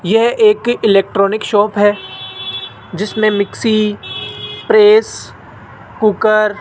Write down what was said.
यह एक electronic shop है जिसमें मिक्सी प्रेस कुकर --